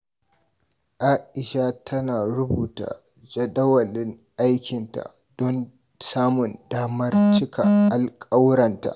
A'isha tana rubuta jadawalin aikinta don samun damar cika duk alƙawuranta.